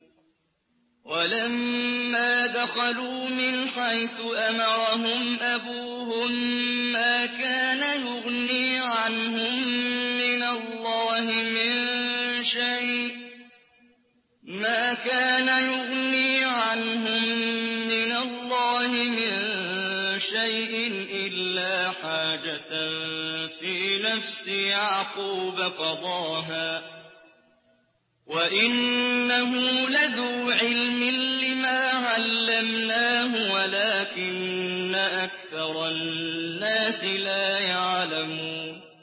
وَلَمَّا دَخَلُوا مِنْ حَيْثُ أَمَرَهُمْ أَبُوهُم مَّا كَانَ يُغْنِي عَنْهُم مِّنَ اللَّهِ مِن شَيْءٍ إِلَّا حَاجَةً فِي نَفْسِ يَعْقُوبَ قَضَاهَا ۚ وَإِنَّهُ لَذُو عِلْمٍ لِّمَا عَلَّمْنَاهُ وَلَٰكِنَّ أَكْثَرَ النَّاسِ لَا يَعْلَمُونَ